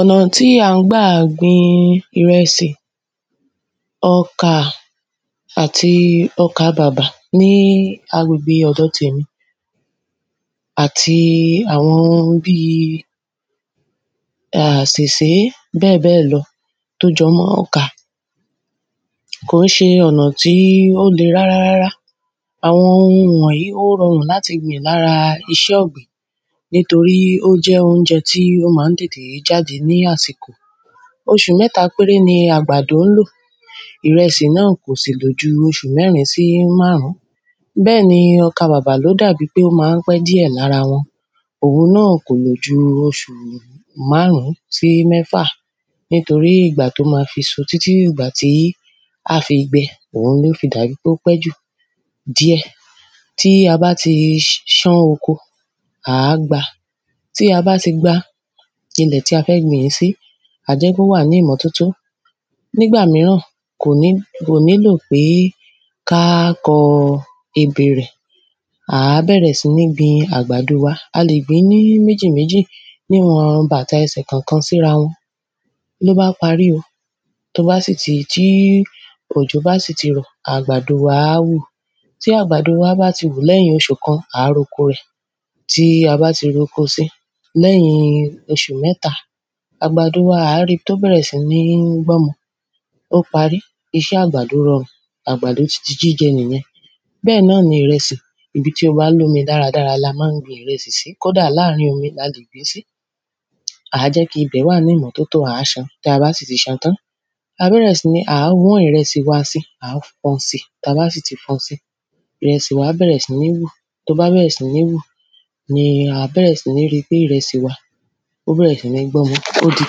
Ọ̀nà tí a ń gbà gbin ìrẹsì, ọkà, àti ọkà bàbà ní agbègbè ọ̀dọ̀ tèmi àti àwọn ohun bíi àsèsé bẹ́ẹ̀bẹ́ẹ̀ lọ tó jọ mọ́ ọkà kò ń ṣe ọ̀nà tí ó le rárá rárá àwọn ohun wọ̀nyí ó rọrùn láti gbìn lára iṣẹ́ ọ̀gbìn nítorí ó jẹ́ oúnjẹ tí ó máa ń tètè jáde lásìkò oṣù mẹ́ta péré ni àgbàdo ńlò, ìrẹsì náà kò sì lòju oṣù mẹ́rin sí márùn-ún bẹ́ẹ̀ni ọkà bàbà ló dà bí pé ó máa ń pẹ́ díẹ̀ lára wọn òhun náà kò lò ju oṣù márùn-ún sí mẹ́fà nítorí ìgbà tó máa fi so títí dì ìgbà tó máa fi gbẹ ló fi dàbí ó pẹ́ jù díẹ̀ tí a bá ti sán oko àá gba tí a bá ti gba ilẹ̀ tí a fẹ́ gbìn ín sí àá jẹ́ kí ó wà ní ìmọ́ tótó nígbà míràn kò nílò pé ká kọ ebè rẹ̀ àá bẹ̀rẹ̀ sí ní gbin àgbàdo wa a lè gbìn ín ní méjì méjì ní ìwọ̀n bàtà ẹsẹ̀ kan sí ra wọn lóbá parí o tó bá sì ti tí òjò bá sì ti rọ̀ àgbàdo wa á wù tí àgbàdo wa bá ti wù lẹ́yìn oṣù kan àá ro ko rẹ̀ tí a bá ti roko si lẹ́yìn oṣù mẹ́ta àgbàdo wa àá ri tó bẹ̀rẹ̀ sí ní gbọ́mọ ó parí iṣẹ́ àgbàdo rọrùn àgbàdo ti di jíjẹ nìyẹn bẹ́ẹ̀ náà ni ìrẹsì, ibi tó bá lómi dára dára la máa ń gbin ìrẹsì sí kódà láàrín omi a lè gbìn ín sí àá jẹ́ kí ibẹ̀ wà ní ìmọ́tótó àá san tí a bá sì ti san tán àá bẹ̀rẹ̀ sí ní àá wọ́n ìrẹsì wa si àá fọn si tabá sì ti fọn si ìrẹsì wa á bẹ̀rẹ̀ sí ní wù tó bá bẹ̀rẹ̀ sí ní wù ni àá bẹ̀rẹ̀ sí ní ri pé ìrẹsì wa ó bẹ̀rẹ̀ sí ní gbọ́mọ ó di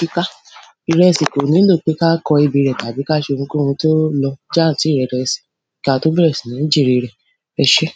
kíká ìrẹsì kò nílò pé ká kọ ebè rẹ̀ tàbí ká ṣe ohunkóhun tó lọ jáàntíìrẹrẹ si kí a tó bẹ̀rẹ̀ sí ń jèrè rẹ̀ ẹ ṣé